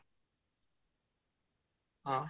ହଁ